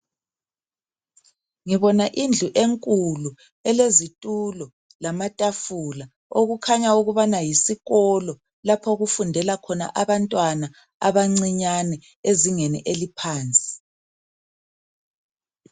Ngibona indlu enkulu elezithulo lamathafula, okukhanya ukubana yisikolo lapho okufundela khona abantwana abancinyane ezingeni laphansi.